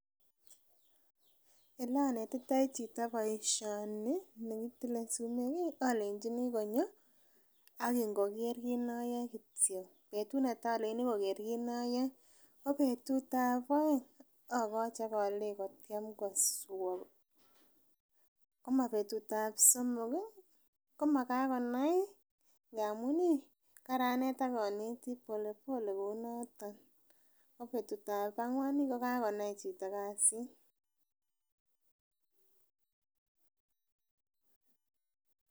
Elonetitoi chito boisioni kitile sumek ih olenjini konyo akin koker kit noyoe kityo betut netaa olenjini koker kit noyoe ko betut ab oeng akochi akolenji kotyem koswa, komabetut ab somok komakakonai ih amun ih karanet akoneti pole pole kou noton ko betut ab ang'wan kokakonai chito kasit